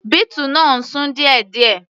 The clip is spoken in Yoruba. Beetle náà ń sún díẹ̀díẹ̀.